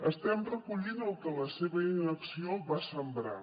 estem recollint el que la seva inacció va sembrar